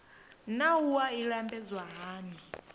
naa wua i lambedzwa hani